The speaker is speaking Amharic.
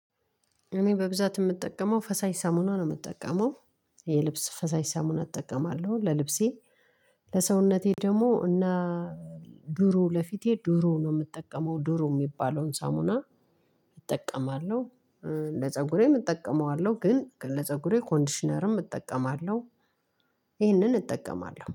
እኔ በብዛት የምጠቀመው ፈሳሽ ሳሙና ነው የምጠቀመው የልብስ ፈሳሽ ሳሙና አጠቀማለሁ ለልብሴ። ለሰውነቴ ደግሞ እና ድሮ ለፊቴ ዱሩ ነው የምጠቀመው ዱሩ የሚባለውን ሳሙና። እጠቀማለሁ። ለፀጉሬም እጠቀመዋለሁ ግን ለፀጉሬ ኮንዲሽነርም እጠቀማለሁ። ይህንን እጠቀማለሁ